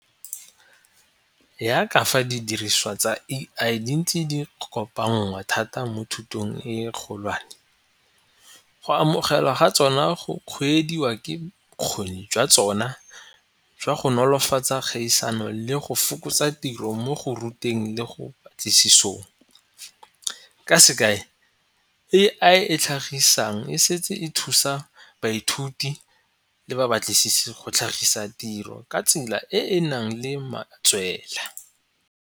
Yaka fa didiriswa tsa A_I dintse di kopangwa thata mo thutong e kgolwane go amogelwa ga tsona go kgweediwa ke bokgoni jwa tsona jwa go nolofatsa kgaisano le go fokotsa tiro mo go ruteng le go ka sekai A_I e tlhagisang e setse e thusa baithuti le ba batlisisi go tlhagisa tiro ka tsela e e nang le matswela.